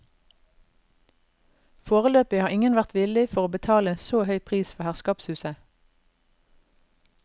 Foreløpig har ingen vært villig for å betale en så høy pris for herskapshuset.